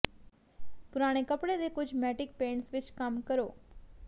ਪੁਰਾਣੇ ਕੱਪੜੇ ਦੇ ਕੁਝ ਮੈਟਿਕ ਪੇਂਟਸ ਵਿੱਚ ਕੰਮ ਕਰੋ